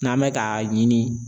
N'an bɛ ka ɲini.